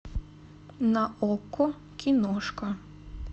на окко киношка